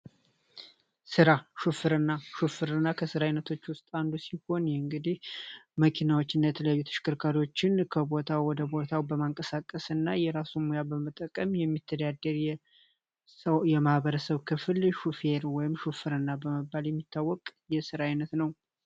ስራ ሹፈርና ሹፍርና ከስራ አይነቶች ውስጥ አንዱ ሲሆን እንግዲህ መኪኖችን እና ተሽከርካሪዎችን ከቦታ ወደ ሌላ ቦታ በመንቀሳቀስና የራሱን ሙያ በመጠቀ ስራ የሚሠራ የማህበረሰብ ክፍል ሹፌር በመባል የሚታወቅ የስራ አይነት ነው።